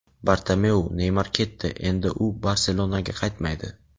Bartomeu: "Neymar ketdi, endi u "Barselona"ga qaytmaydi".